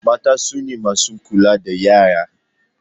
Mata sune masu kula da yara